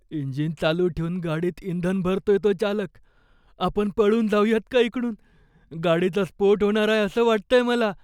Engine चालू ठेऊन गाडीत इंधन भरतोय तो चालक. आपण पळून जाऊयात का इकडून? गाडीचा स्फोट होणार आहे असं वाटतंय मला.